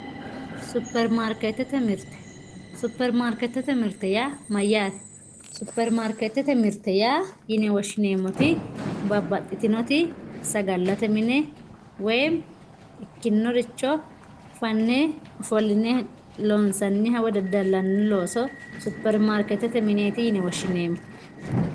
Superimaarketete mirte, superimaarketete mirte yaa mayyate, superimaarketete mirte yine woshshineemmoti babbaxxitinoti sagalate mini woyimi ikkinoricho fanne afolline loonsaniha woyi daddalani looso superimaarketete mirteti yine woshshineemmo.